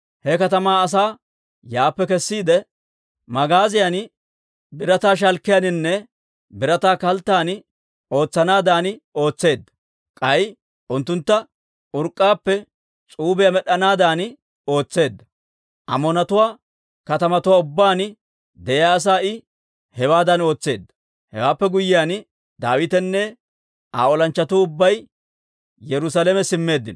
He katamaa asaa yaappe kessiide, magaaziyan, birataa shalkkiyaaninne birataa kalttan ootsanaadan ootseedda; k'ay unttuntta urk'k'aappe s'uubiyaa med'd'anaadan ootseedda. Amoonatuwaa katamatuwaa ubbaan de'iyaa asaa I hewaadan ootseedda. Hewaappe guyyiyaan, Daawitenne Aa olanchchatuu ubbay Yerusaalame simmeeddino.